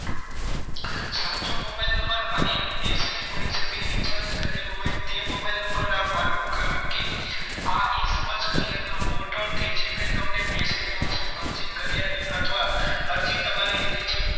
સાચો mobile number અને message પડી શકે recharge કરેલું હોય તે mobile number નાખવાનો કારણકે આ ઈ સમાજ કલ્યાણના portal થી જે કંઈ message આવશે અરજી કર્યા ની અથવા અરજી તમારી reject